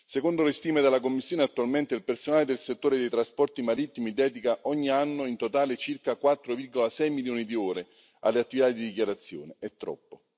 Secondo le stime della Commissione, attualmente il personale del settore dei trasporti marittimi dedica ogni anno in totale circa 4,6 milioni di ore alle attività di dichiarazione, è troppo.